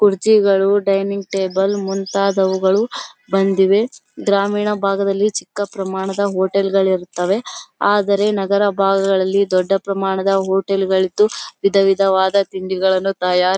ಕುರ್ಚಿಗಳು dining table ಗಳು ಮುಂತಾದವುಗಳು ಬಂದಿವೆ. ಗ್ರಾಮೀಣ ಭಾಗದಲ್ಲಿ ಚಿಕ್ಕ ಪ್ರಮಾಣದ ಹೋಟೆಲ್ಗಳು ಇರುತ್ತದೆ ಆದರೆ ನಗರ ಭಾಗಗಳಲ್ಲಿ ದೊಡ್ಡ ಪ್ರಮಾಣದ ಹೋಟೆಲ್ಗಳು ಇದ್ದು ವಿಧ ವಿಧವಾದ ತಿಂಡಿಗಳನ್ನು ತಾಯ--